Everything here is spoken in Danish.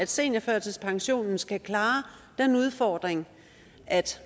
seniorførtidspensionen skal klare den udfordring at